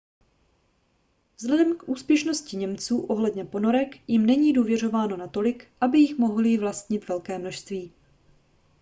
vzhledem k úspěšnosti němců ohledně ponorek jim není důvěřováno natolik aby jich mohli vlastnit velké množství